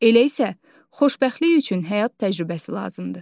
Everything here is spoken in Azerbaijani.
Elə isə xoşbəxtlik üçün həyat təcrübəsi lazımdır.